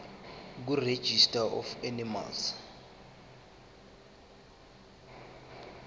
kuregistrar of animals